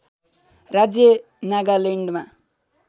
राज्य नागालैन्डमा